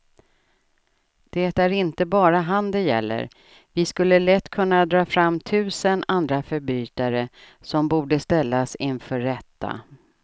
Det är inte bara han det gäller, vi skulle lätt kunna dra fram tusen andra förbrytare som borde ställas inför rätta.